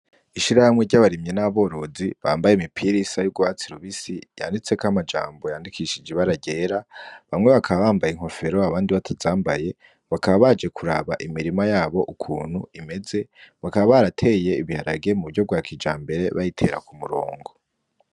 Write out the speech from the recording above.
Ishirahamwe ry'abarimyi n'aborozi bambaye imipira isa y'ugwatsi rubisi yanditseko amajambo yandikishije ibara ryera bamwe bakaba bambaye inkofero abandi batazambaye bakaba baje kuraba imirima yabo ukuntu imeze bakaba barateye ibiharage mu buryo bwa kijambere bayitere k'umurongo.